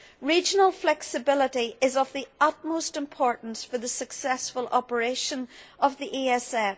Regional flexibility is of the utmost importance for the successful operation of the ESF.